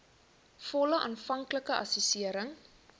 volle aanvanklike assessering